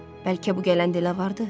Bəlkə bu gələn Delavardır?